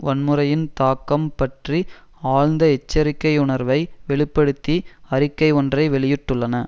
வன்முறையின் தாக்கம் பற்றி ஆழ்ந்த எச்சரிக்கையுணர்வை வெளி படுத்தி அறிக்கை ஒன்றை வெளியிட்டுள்ளன